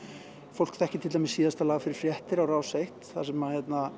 fólk þekkir til dæmis síðasta lag fyrir fréttir á Rás eins þar sem